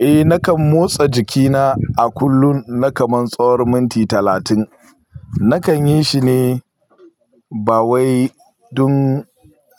Eh, nakan motsa jikina, a kullum, na kaman tsawar minti talatin, Nakan yi shi ne, ba wai dun,